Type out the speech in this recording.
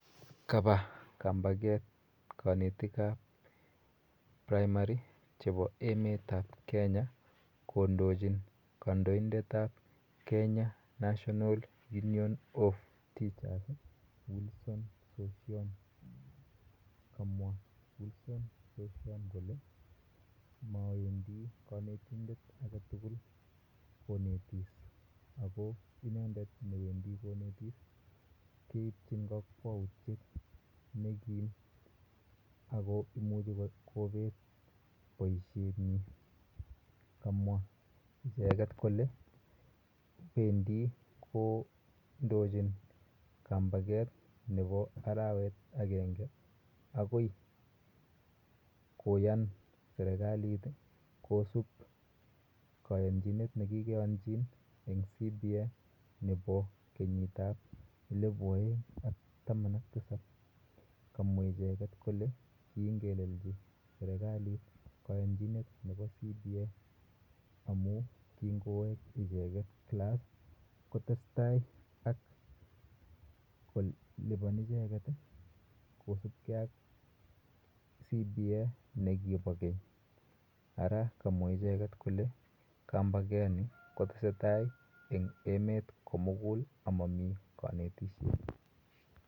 Kapa kambaket kanetik ap praimari chepo emet ap Kenya kondochin kandoindet ap Kenya National Union of Teachers, Wilson Sossion. Kamwa Wilson Sossion kole mawendi kanetindet age tugul konetis ako inendet ne wendi konetis keipchin kakwautiet ne kiim ako imuchi kopet poishetnyi. Kamwa icheget kole pendi kondochin kambaket nepo arawek agenge akoi koyan serikalit kosup kayanchinet ne kikeyanchin eng' cba nepo kenyitap elipu aeng' ak taman ak tisap. Kamwa icheget kole kiingelechi serikalit kayanchinet nepo cba amu kingowek ichekt klass kotes tai ako lipan icheket kosupgei ak cba ne kipa keny. Ara kamwa icheget kole kambakani kotese tai eng' emet kougul a mamii kaneyishet.